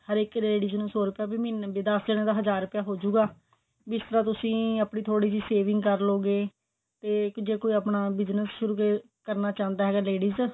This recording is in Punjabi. ਹਰੇਕ ladies ਨੂੰ ਸੋ ਰੁਪਿਆ ਵੀ ਮਹੀਨਾ ਦਸ ਦਿਨਾ ਦਾ ਹਜ਼ਾਰ ਰੁਪਿਆ ਹੋਜੂਗਾ ਜਿਸ ਤਰ੍ਹਾਂ ਤੁਸੀਂ ਆਪਣੀ ਥੋੜੀ ਜੀ ਸਵਿੰਗ ਕਰਲੋਗੇ ਤੇ ਜੇ ਕੋਈ ਆਪਣਾ business ਕਰਨਾ ਚਾਹੰਦਾ ਹੈ ladies